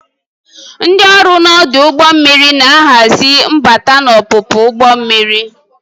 Ndị ọrụ na ọdụ ụgbọ mmiri na-ahazi mbata na ọpụpụ nke ụgbọ mmiri.